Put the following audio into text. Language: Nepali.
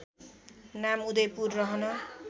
नाम उदयपुर रहन